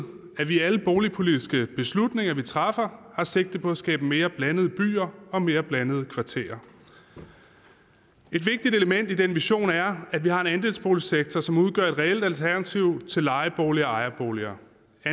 at vi i alle boligpolitiske beslutninger vi træffer har sigte på at skabe mere blandede byer og mere blandede kvarterer et vigtigt element i den vision er at vi har en andelsboligsektor som udgør et reelt alternativ til lejeboliger og ejerboliger